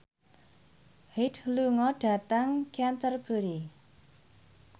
Hyde lunga dhateng Canterbury